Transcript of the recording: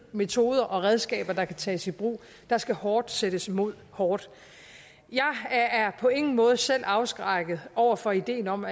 metoder og redskaber der kan tages i brug der skal hårdt sættes mod hårdt jeg er på ingen måde selv afskrækket over for ideen om